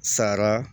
Sara